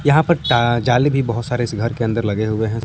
यहां पर टा जाली भी बहुत सारे इस घर के अंदर लगे हुए हैं।